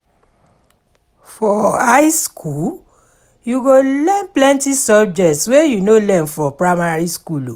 For high skool, you go learn plenty subjects wey you no learn for primary skool.